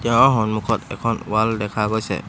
সন্মুখত এখন ৱাল দেখা গৈছে।